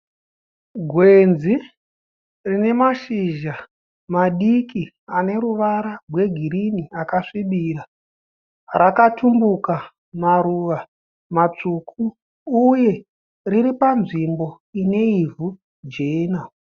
Gwenzi rine mashizha madiki ane ruvara rwegirini akasvibira. Rakatumbuka maruva matsvuku uye riri panzvimbo ine ivhu jena.